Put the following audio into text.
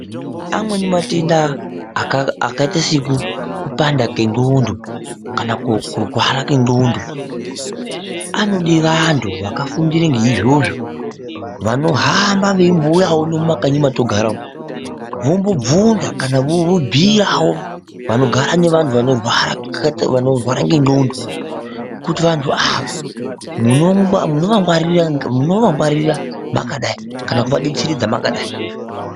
Amweni matenda akaite sekupanda kwendxondo kana kurwara kwendxondo anode vantu vakafundire ngeizvozvo vanohamba veimbouya uno mumakanyi matogara umu vombobvunza kana vobhiyawo vanogara nevanhu vanorwara ngendxondo kuti vantu ava munovangwarira makadai kana kuvadetseredza makadai .